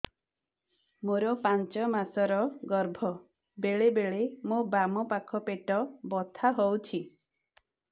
ମୋର ପାଞ୍ଚ ମାସ ର ଗର୍ଭ ବେଳେ ବେଳେ ମୋ ବାମ ପାଖ ପେଟ ବଥା ହଉଛି